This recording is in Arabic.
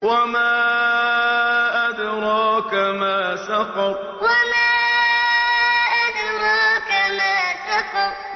وَمَا أَدْرَاكَ مَا سَقَرُ وَمَا أَدْرَاكَ مَا سَقَرُ